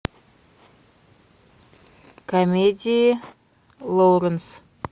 комедии лоуренс